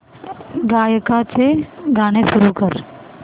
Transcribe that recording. गायकाचे गाणे सुरू कर